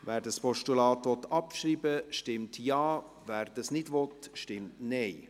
Wer das Postulat abschreiben will, stimmt Ja, wer dies nicht will, stimmt Nein.